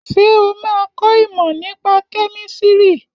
Ṣé o máa kọ ìmọ̀ nípa kẹ́mísìrì?